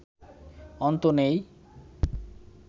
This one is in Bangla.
অন্ত নেই